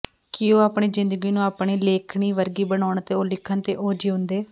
ਕਿ ਉਹ ਆਪਣੀ ਜ਼ਿੰਦਗੀ ਨੂੰ ਆਪਣੀ ਲੇਖਣੀ ਵਰਗੀ ਬਣਾਉਣ ਅਤੇ ਉਹ ਲਿਖਣ ਤੇ ਉਹ ਜਿਉਦੇ